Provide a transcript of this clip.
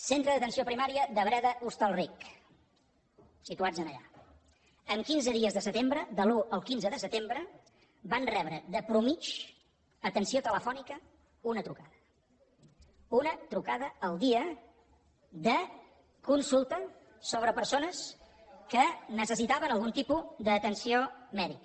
centre d’atenció primària de breda hostalric situats allà en quinze dies de setembre de l’un al quinze de setembre van rebre de mitjana d’atenció telefònica una trucada una trucada al dia de consulta sobre persones taven algun tipus d’atenció mèdica